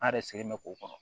An yɛrɛ sɛgɛnlen mɛ k'o kɔnɔ